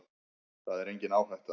Það er engin áhætta.